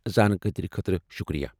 زانکٲری خٲطرٕ شُکریہ۔